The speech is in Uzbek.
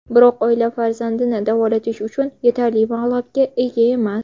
Biroq oila farzandini davolatish uchun yetarli mablag‘ga ega emas.